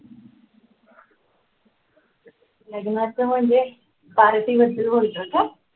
लग्नाचा म्हणजे party बद्दल बोलतोय का?